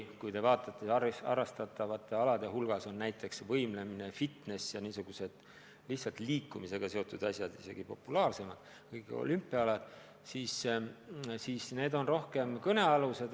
Samas on harrastatavate alade hulgas näiteks ka võimlemine, fitness ja muud sellised lihtsalt liikumisega seotud alad, mis on isegi populaarsemad kui olümpiaalad, ja neist on rohkem juttu.